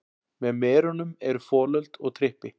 Með merunum eru folöld og trippi.